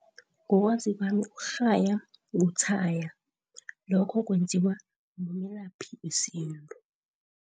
Ngokwazi kwami ukurhaya kutshaya, lokho kwenziwa mulaphi wesintu.